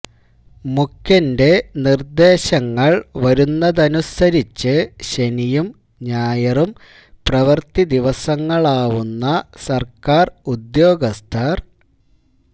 മുഖ്യന്റെ നിർദേശങ്ങൾ വരുന്നതനുസരിച്ച് ശനിയും ഞായറും പ്രവൃത്തിദിവസങ്ങളാവുന്ന സർക്കാർ ഉദ്യോഗസ്ഥർ